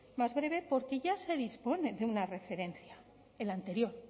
más breve porque ya se dispone de una referencia el anterior